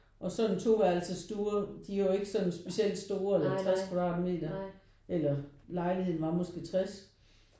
Og så en toværelses stue de er jo ikke sådan specielt store eller 50 kvadratmeter eller lejligheden var måske 60